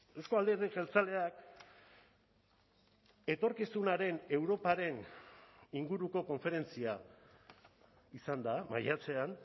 euzko alderdi jeltzaleak etorkizunaren europaren inguruko konferentzia izan da maiatzean